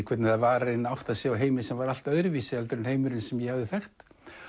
hvernig það var að átta sig á heimi sem var allt öðruvísi en heimurinn sem ég hafði þekkt